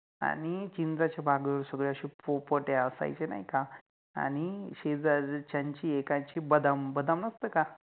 आणि चिंचाच्या बागत सगळे अशे पोपट असायचे नाइ का आणि शेजारच्यांचि एकाचि बदाम बदाम नसते का